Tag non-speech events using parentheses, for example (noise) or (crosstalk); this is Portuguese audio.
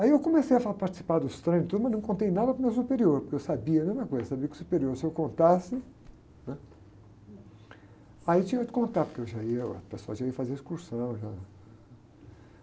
Aí eu comecei a (unintelligible) participar dos treinos, tudo, mas não contei nada para o meu superior, porque eu sabia, a mesma coisa, sabia que, o superior, se eu contasse, né? Aí tinha que contar, porque eu já ia, o pessoal já ia fazer excursão, já...